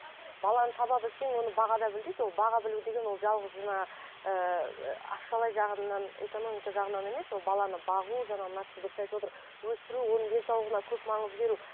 баланы таба білсең оны баға да біл дейді ол баға білу деген ол жалғыз жаңа ыыы ақшалай жағынан экономика жағынан емес ол баланы бағу жаңа мына кісі дұрыс айтып отыр өсіру оның денсаулығына көп маңыз беру